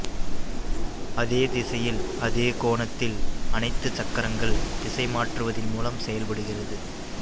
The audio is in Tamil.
அதே திசையில் அதே கோணத்தில் அனைத்து சக்கரங்கள் திசைமாற்றுவதின் மூலம் செயல்படுகிறது